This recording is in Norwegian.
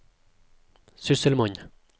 sysselmann